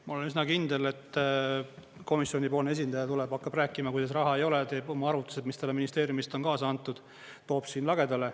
" Ma olen üsna kindel, et komisjoni esindaja tuleb ja hakkab rääkima, kuidas raha ei ole, toob oma arvutused, mis talle ministeeriumist on kaasa antud, siin lagedale.